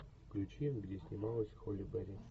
включи где снималась холли берри